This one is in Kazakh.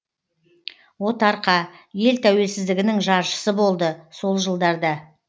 отарқа ел тәуелсіздігінің жаршысы болды сол жылдарда